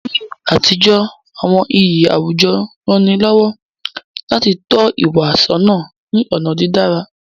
Ni àtijọ́, àwọn iyì àwùjọ rán ni lọ́wọ́ láti tọ́ ìwà sọ́nà ní ọ̀nà dídára.